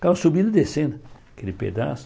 Ficavam subindo e descendo aquele pedaço.